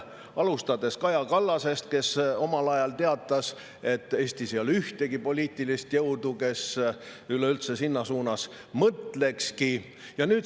Alustades Kaja Kallasest, kes omal ajal teatas, et Eestis ei ole ühtegi poliitilist jõudu, kes üleüldse selles suunas mõtlekski.